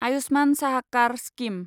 आयुष्मान साहाकार स्किम